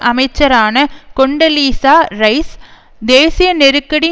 அமைச்சரான Condoleezza Rice தேசிய நெருக்கடி